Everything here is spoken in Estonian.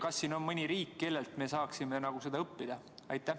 Kas on mõni riik, kellelt me saaksime seda õppida?